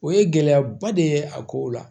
O ye gɛlɛyaba de ye a kow la